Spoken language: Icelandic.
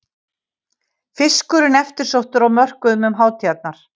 Fiskurinn eftirsóttur á mörkuðum um hátíðarnar